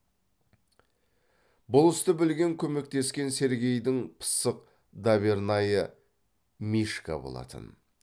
бұл істі білген көмектескен сергейдің пысық дабернайы мишка болатын